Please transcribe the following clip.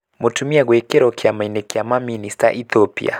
Mũtumia gwĩkĩro kĩama-ini kĩa mamĩnĩsta Ethiopia.